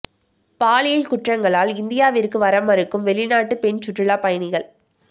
பாலியல் குற்றங்களால் இந்தியாவிற்கு வர மறுக்கும் வெளிநாட்டு பெண் சுற்றுலா பயணிகள்